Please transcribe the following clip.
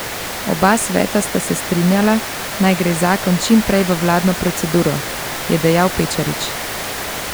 Oba sveta sta se strinjala, naj gre zakon čim prej v vladno proceduro, je dejal Pečarič.